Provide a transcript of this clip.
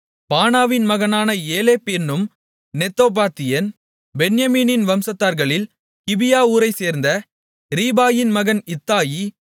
பானாவின் மகனான ஏலேப் என்னும் நெத்தோபாத்தியன் பென்யமீன் வம்சத்தார்களின் கிபியா ஊரைச்சேர்ந்த ரிபாயின் மகன் இத்தாயி